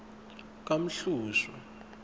kamhlushwa